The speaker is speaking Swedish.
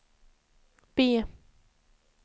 B